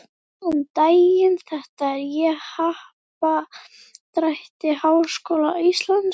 Góðan daginn, þetta er á Happadrætti Háskóla Íslands.